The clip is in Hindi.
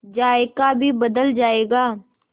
जायका भी बदल जाएगा